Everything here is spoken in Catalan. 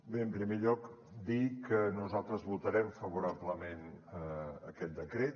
bé en primer lloc dir que nosaltres votarem favorablement aquest decret